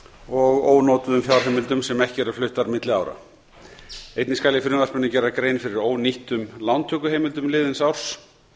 og ónotuðum fjárheimildum sem ekki eru fluttar milli ára einnig skal í frumvarpinu gera grein fyrir ónýttum lántökuheimildum liðins árs